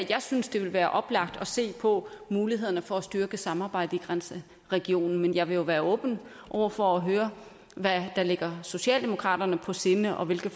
jeg synes det ville være oplagt at se på mulighederne for at styrke samarbejdet i grænseregionen men jeg vil jo være åben over for at høre hvad der ligger socialdemokraterne på sinde og hvilke